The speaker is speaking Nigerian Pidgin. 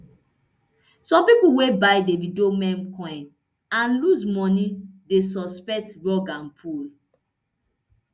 some pipo wey buy davido meme coin and lose moni dey suspect rug and pull